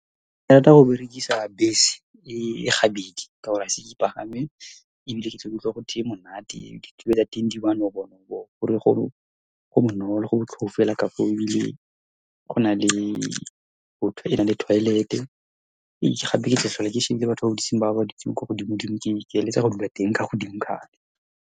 Ke rata go berekisa bese e gabedi ka gore ga ise ke e pagame, ebile ke tle ke utlwe gore e monate. Ditilo tsa teng di manobonobo, ko re go bonolo go botlhôfu hela ka foo, ebile go na le . E na le toilet-e. Gape, ketla tlhola ke shebile batho ba ba dutsing ko godimo-dimo. Ke eletsa go dula teng, godimo, .